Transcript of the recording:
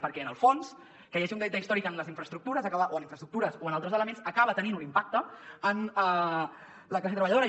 perquè en el fons que hi hagi un deute històric en les infraestructures o en infraestructures o en altres elements acaba tenint un impacte en la classe treballadora